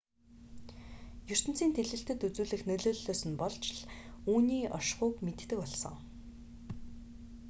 ертөнцийн тэлэлтэд үзүүлэх нөлөөллөөс нь болж л үүний оршихуйг мэддэг болсон